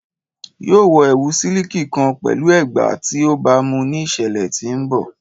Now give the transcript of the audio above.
Yoo wọ ẹwu siliki kan pẹlu ẹgba ti o baamu ni iṣẹlẹ ti n bọ